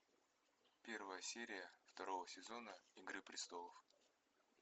первая серия второго сезона игры престолов